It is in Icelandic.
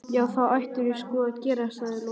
Já, það ættirðu sko að gera, sagði Lóa-Lóa.